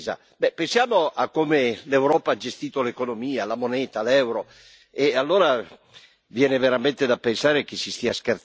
Be', pensiamo a come l'Europa ha gestito l'economia, la moneta, l'euro e allora viene veramente da pensare che si stia scherzando.